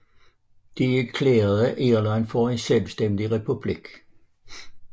De erklærede Irland for en selvstændig republik